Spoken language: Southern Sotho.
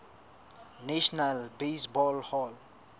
national baseball hall